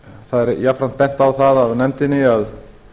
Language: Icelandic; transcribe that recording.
jafnframt er bent á það af nefndinni að